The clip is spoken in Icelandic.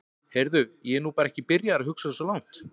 Heyrðu, ég er nú bara ekki byrjaður að hugsa svo langt.